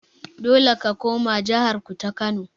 Dole ka koma jahar ku ta kano.